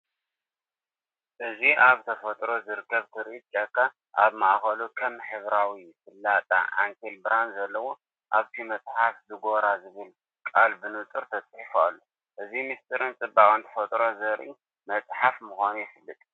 እዚ ኣብ ተፈጥሮ ዝርከብ ትርኢት ጫካ፡ ኣብ ማእከሉ ከም ሕብራዊ ፍላጻ ዓንኬል ብርሃን ዘለዎ። ኣብቲ መጽሓፍ ‘ዝጎራ’ ዝብል ቃል ብንጹር ተጻሒፉ ኣሎ፤ እዚ ምስጢርን ጽባቐን ተፈጥሮ ዘርኢ መጽሓፍ ምዃኑ የፍልጥ።